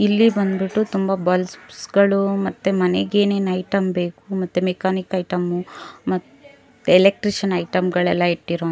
ಇಲ್ಲಿ ಬಂದ್ ಬಿಟ್ಟು ತುಂಬಾ ಬಲ್ಬ್ಸ್ ಗಳು ಮತ್ತೆ ಮನೆಗೆ ಏನೇನ್ ಐಟಂ ಬೇಕು ಮತ್ತೆ ಮೆಕಾನಿಕ್ ಐಟಂ ಮ ಎಲೆಕ್ಟ್ರಿಷಿಯನ್ ಐಟಂ ಗಳೆಲ್ಲ ಇಟ್ಟಿರು --